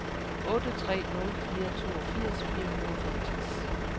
otte tre nul fire toogfirs fire hundrede og femogtres